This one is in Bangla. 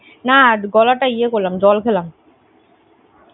না গলাটা ইয়ে করলাম জল খেলাম।